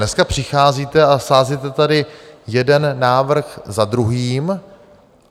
Dneska přicházíte a sázíte tady jeden návrh za druhým.